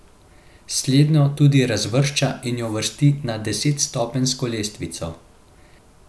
Slednjo tudi razvršča in jo uvrsti na desetstopenjsko lestvico.